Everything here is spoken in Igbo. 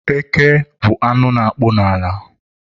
Eke bụ anụ na-akpụ n'ala